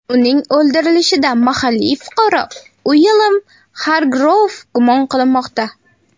Uning o‘ldirilishida mahalliy fuqaro Uilyam Xargrouv gumon qilinmoqda.